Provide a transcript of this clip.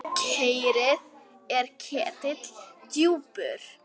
Kerið er ketill djúpur.